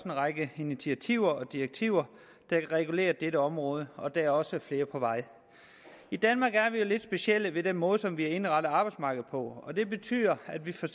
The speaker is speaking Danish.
række initiativer og direktiver der kan regulere dette område og der er også flere på vej i danmark er vi jo lidt specielle med den måde som vi har indrettet arbejdsmarkedet på det betyder at vi for